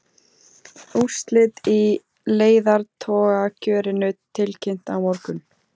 Úrslit í leiðtogakjörinu tilkynnt á morgun